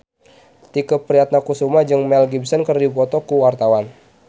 Tike Priatnakusuma jeung Mel Gibson keur dipoto ku wartawan